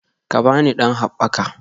Ka ba ni ɗan haɓɓaka